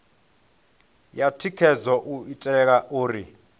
ya thikhedzo u itela uri